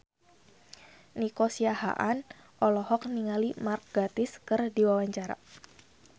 Nico Siahaan olohok ningali Mark Gatiss keur diwawancara